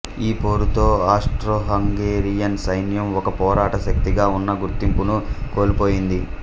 ఈ పోరుతో ఆస్ట్రోహంగేరియన్ సైన్యం ఒక పోరాట శక్తిగా ఉన్న గుర్తింపును కోల్పోయింది